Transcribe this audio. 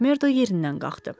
Makmordu yerindən qalxdı.